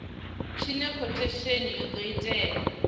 tshine khothesheni ya do tea